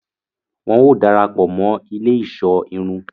Wọn o darapọ mọ ilé iṣọ irun